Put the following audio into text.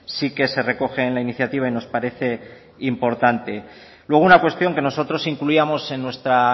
sí que se recoge en la iniciativa y nos parece importante luego una cuestión que nosotros incluíamos en nuestra